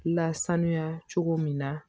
Lasanuya cogo min na